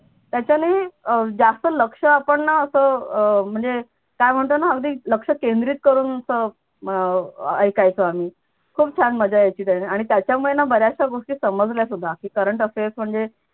त्याच्याने जास्त लक्ष ना आपण असं म्हणजे काय म्हणतो ना अगदी लक्ष केंद्रित करून असं अह ऐकायचो आम्ही खूप छान मज्जा यायची आणि त्याच्यामुळे ना बऱ्याचश्या गोष्टी समजल्या सुद्धा की current affairs वगैरे